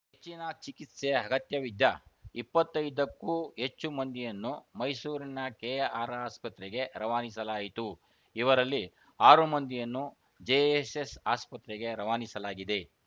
ಹೆಚ್ಚಿನ ಚಿಕಿತ್ಸೆ ಅಗತ್ಯವಿದ್ದ ಇಪ್ಪತ್ತೈದಕ್ಕೂ ಹೆಚ್ಚು ಮಂದಿಯನ್ನು ಮೈಸೂರಿನ ಕೆಆರ್‌ಆಸ್ಪತ್ರೆಗೆ ರವಾನಿಸಲಾಯಿತು ಇವರಲ್ಲಿ ಆರು ಮಂದಿಯನ್ನು ಜೆಎಸ್‌ಎಸ್‌ ಆಸ್ಪತ್ರೆಗೆ ರವಾನಿಸಲಾಗಿದೆ